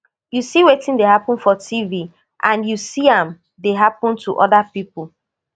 you see wetin dey happun for tv and you see am dey happun to oda pipo